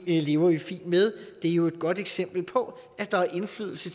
det lever vi fint med det er jo et godt eksempel på at der er indflydelse